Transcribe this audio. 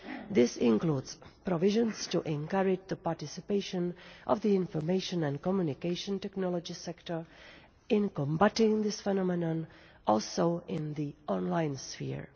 This includes provisions to encourage the participation of the information and communication technology sector in combating this phenomenon, also in the online sphere.